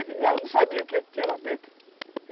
Eu não sabia o que que tinha lá dentro.